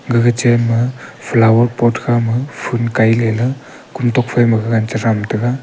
gaga chen ma flower pot khama funn kaile la kom tok phaima gagan chathamtaga.